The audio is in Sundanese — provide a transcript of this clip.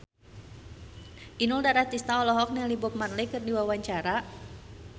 Inul Daratista olohok ningali Bob Marley keur diwawancara